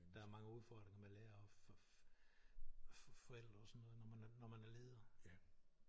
Der er mange udfordringer med lærere og forældre og sådan noget når man når man er leder